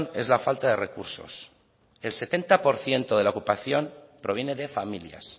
es la falta de recursos el setenta por ciento de la ocupación proviene de familias